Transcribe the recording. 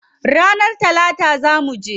Ranar talata zaa muje.